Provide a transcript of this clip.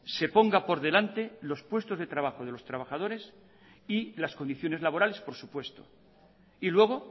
se ponga por delante los puestos de trabajo de los trabajadores y las condiciones laborales por supuesto y luego